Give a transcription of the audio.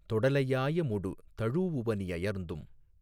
தொடலையாயமொடு தழூஉவணி யயர்ந்தும்